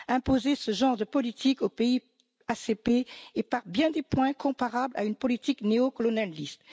Imposer ce genre de politique aux pays ACP est par bien des points comparables à une politique néo colonialiste.